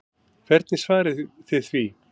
Hvernig svarið þið því?